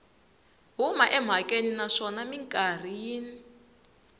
huma emhakeni naswona mikarhi yin